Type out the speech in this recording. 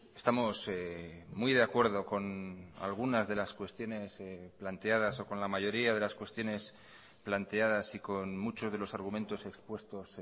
estamos muy de acuerdo con algunas de las cuestiones planteadas o con la mayoría de las cuestiones planteadas y con muchos de los argumentos expuestos